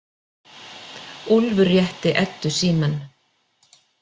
Úlfur rétti Eddu símann.